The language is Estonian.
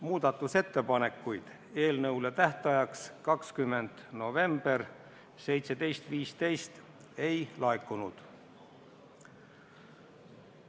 Muudatusettepanekuid tähtajaks, mis oli 20. november 17.15, ei laekunud.